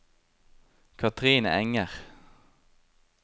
Kathrine Enger